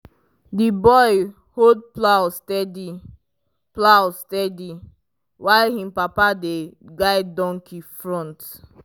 the boy hold plow steady plow steady while him papa dey guide donkey front.